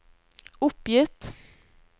oppgitt